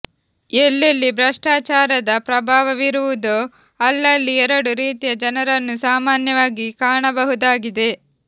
ಎಲ್ಲೆಲ್ಲಿ ಭ್ರಷ್ಟಾಚಾರದ ಪ್ರಭಾವವಿರುವುದೋ ಅಲ್ಲಲ್ಲಿ ಎರಡು ರೀತಿಯ ಜನರನ್ನು ಸಾಮಾನ್ಯವಾಗಿ ಕಾಣಬಹುದಾಗಿದೆ